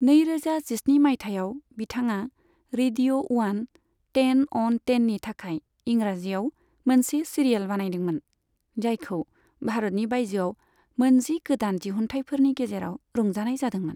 नैरोजा जिस्नि मायथाइयाव बिथाङा रेडिअ' उवान, टेन अन टेननि थाखाय इंराजिआव मोनसे सिरियेल बानायदोंमोन, जायखौ भारतनि बायजोआव मोनजि गोदान दिहुनथायफोरनि गेजेराव रंजानाय जादोंमोन।